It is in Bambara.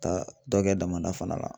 Ka dɔ kɛ damada fana la